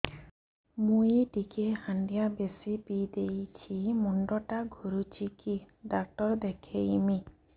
ମୁଇ ଟିକେ ହାଣ୍ଡିଆ ବେଶି ପିଇ ଦେଇଛି ମୁଣ୍ଡ ଟା ଘୁରୁଚି କି ଡାକ୍ତର ଦେଖେଇମି